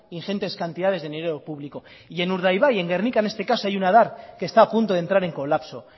ingentes cantidades de dinero público y en urdaibai en gernika en este caso hay una edar que está apunto de entrar en colapso